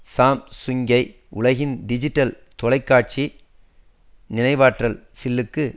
சாம்சுங்கை உலகின் டிஜிட்டல் தொலைக்காட்சி நினைவாற்றல் சில்லுக்கு